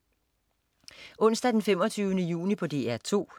Onsdag den 25. juni - DR 2: